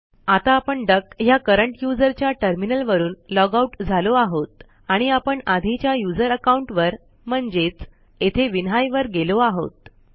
आता आपण डक ह्या करंट यूझर च्या टर्मिनलवरून लॉगआउट झालो आहोत आणि आपण आधीच्या userअकाऊंट वर म्हणजेच येथे विन्हाई वर गेलो आहोत